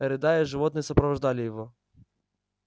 рыдая животные сопровождали его